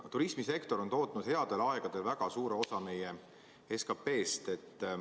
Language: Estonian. Turismisektor on tootnud headel aegadel väga suure osa meie SKP-st.